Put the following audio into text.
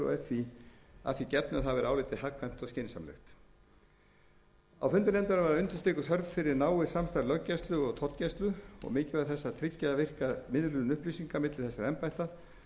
því gefnu að það væri álitið hagkvæmt og skynsamlegt á fundum nefndarinnar var undirstrikuð þörf fyrir náið samstarf löggæslu og tollgæslu og mikilvægi þess að tryggja virka miðlun upplýsinga milli þessara embætta